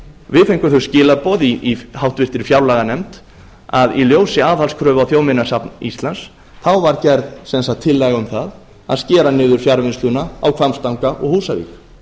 við fengum þau skilaboð í háttvirtri fjárlaganefnd að í ljósi aðhaldskröfu á þjóðminjasafn íslands var gerð sem sagt tillaga um það að skera niður fjarvinnsluna á hvammstanga og húsavík